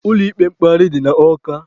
Ụlọ ikpe mkpegharị dị na Ọka.